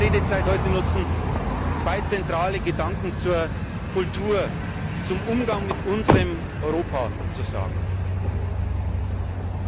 Ich möchte meine Redezeit heute nutzen, zwei zentrale Gedanken zur Kultur, zum Umgang mit unserem Europa auszusprechen.